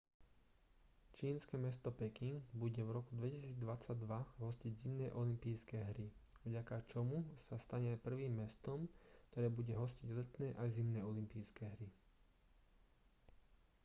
čínske mesto peking bude v roku 2022 hostiť zimné olympijské hry vďaka čomu sa stane prvým mestom ktoré bude hostiť letné aj zimné olympijské hry